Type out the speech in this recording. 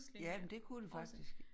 Ja men det kunne det faktisk